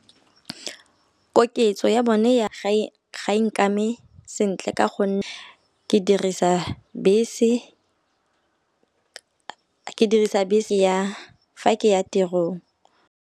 Koketso ya bone ga e nkame sentle ka gonne ke dirisa bese ya fa ke ya tirong.